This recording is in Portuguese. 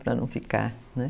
Para não ficar, né?